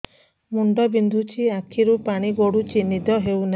ମୁଣ୍ଡ ବିନ୍ଧୁଛି ଆଖିରୁ ପାଣି ଗଡୁଛି ନିଦ ହେଉନାହିଁ